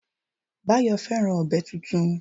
Báyọ̀ fẹ́ràn ọ̀bẹ tuntun